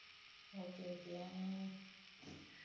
okay okay ah